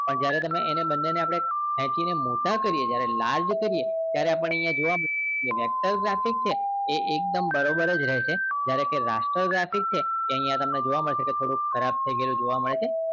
પણ જ્રેયારે આપણે ખેચી ને મોટા કરીએ છીએ large કરીએ ત્યારે આપણે એને જોવા મળે vector graphics છે એ એકદમ બરાબર જ રહે છે raster graphics એની અંદર તમને જોવા મળશે કે થોડુક ખરાબ થઇ ગયેલું જોવા મળે છે